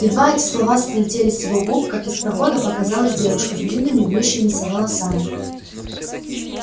едва эти слова слетели с его губ как из прохода показалась девушка с длинными вьющимися волосами